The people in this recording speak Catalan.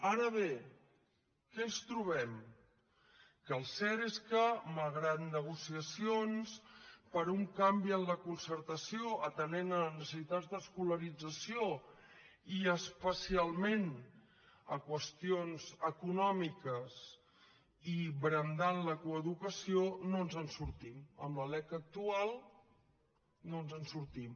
ara bé què ens trobem que el cert és que malgrat negociacions per a un canvi en la concertació atenent necessitats d’escolarització i especialment qüestions econòmiques i brandant la coeducació no ens en sortim amb la lec actual no ens en sortim